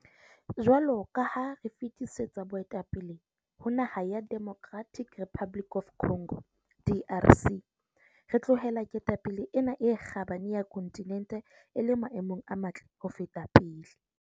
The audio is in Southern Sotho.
Jwalo ka ha re fetisetsa boetapele ho naha ya Democratic Republic of Congo DRC, re tlohela ketapele ena e kgabane ya kontinente e le maemong a matle ho feta pele.